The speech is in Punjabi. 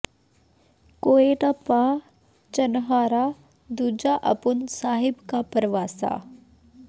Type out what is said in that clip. ਕੋਇ ਨ ਪਹ ੁਚਨਹਾਰਾ ਦੂਜਾ ਅਪੁਨ ੇ ਸਾਹਿਬ ਕਾ ਭਰਵਾਸਾ